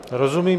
Rozumím.